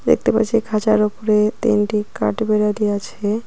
দেখতে পারছি খাঁচার উপরে তিনটি কাঠবিড়ালি আছে।